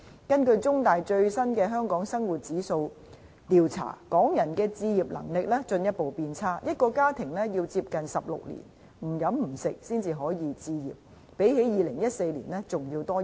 根據最新的"中大香港生活質素指數"調查，港人置業能力進一步變差，一個家庭要接近16年不吃不喝才可置業，相比2014年的情況增加了1年。